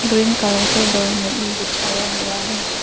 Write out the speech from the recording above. Green colour के doormat भी बिछाया हुआ है।